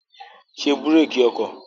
Ṣé búrékì ọkọ̀!